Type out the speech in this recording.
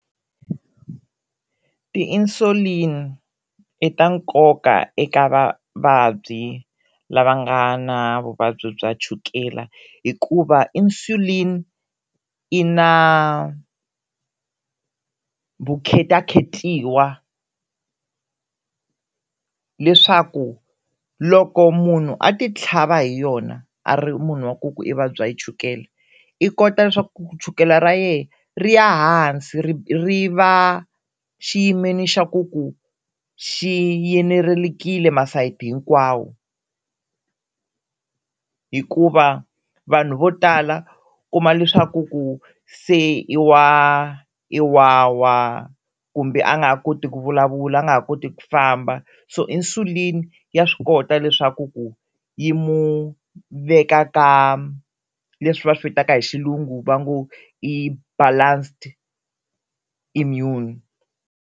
Ti-insulin i ta nkoka eka vavabyi lava nga na vuvabyi bya chukela hikuva insulin i na vukhetakhetiwa leswaku loko munhu a ti tlhava hi yona a ri munhu wa ku ku i vabya yi chukela i kota leswaku chukela ra yena ri ya hansi ri ri va xiyimeni xa ku ku xiyenerekile masayiti hinkwawo, hikuva vanhu vo tala kuma leswaku ku se i wa i wa wa kumbe a nga ha koti ku vulavula a nga ha koti ku famba so insulin ya swi kota leswaku ku yi mu veka ka leswi va swi vitaka hi xilungu va ngo i balanced immune.